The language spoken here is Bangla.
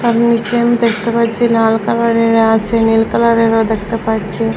সব নীচে আমি দেখতে পাচ্ছি লাল কালারের আছে নীল কালারেরও দেখতে পাচ্ছি।